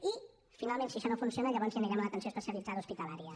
i finalment si això no funciona llavors ja anirem a l’atenció especialitzada hospitalària